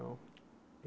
Não